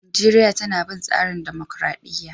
Najeriya tana bin tsarin dumukuradiyya.